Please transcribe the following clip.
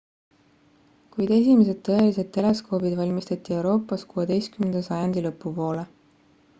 kuid esimesed tõelised teleskoobid valmistati euroopas 16 sajandi lõpu poole